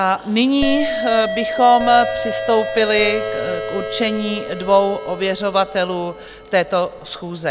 A nyní bychom přistoupili k určení dvou ověřovatelů této schůze.